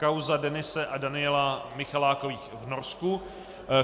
Kauza Denise a Davida Michalákových v Norsku